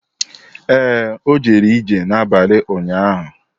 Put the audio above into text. Ee, o jere ije n’abalị ụnyahụ.